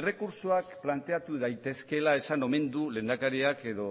errekurtsoak planteatu daitezkeela esan omen du lehendakariak edo